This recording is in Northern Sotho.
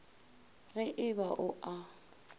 ge e ba o a